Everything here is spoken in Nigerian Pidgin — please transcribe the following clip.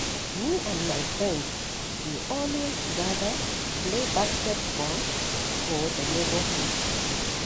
Me and my friends dey always gather to play basketball for the neighborhood.